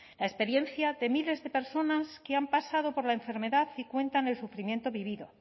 la experiencia de miles de personas que han pasado por la enfermedad y cuenta con el sufrimiento vivido